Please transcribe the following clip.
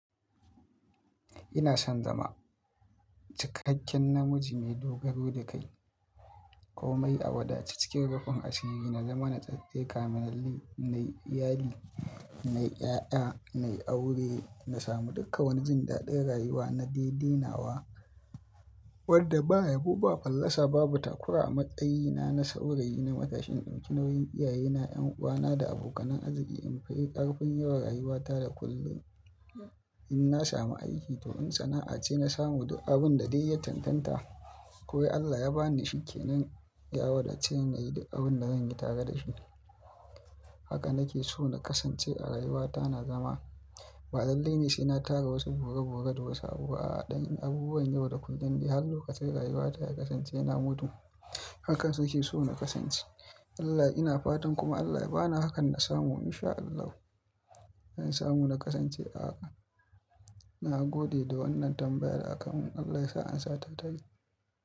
Ina son zama cikakken namiji mai dogaro da kai, ƙomai a wadace, cikin rufin asiri na zama na da kamin, nayi iyali, nayi ƴaƴa, nayi aure, na samu duka wani jin daɗin rayuwa na daidainawa wadda ba yabo ba fallasa, ba batakura matsayina na saurayi na matashin ɗinki nauyin iyayena, ƴan'uwana da abokanan arziki in fayy ƙarfin yawan rayuwata da kullum. In na samu aiki to in sana'a ce na samu abun da dai ya cantanta. Ko Allah ya ba ni shike na yawon da ce nayi da abun da zan yi tare da shi. Haka nake so na kasance a rayuwata na zama. Ba dallalei ce na tara wasu bori-bori da wasu abu a ɗan abubuwan yau da kullum dai har lokacin rayuwata ya kasance yana mutuwa. Hakan suke so na kasance. Allah ina fatan kuma Allah ya bani hakan na samu in sha Allah. In samu na kasance a haka. Na gode da wannan tambayar a kanmu. Allah ya sa an sata ta yi.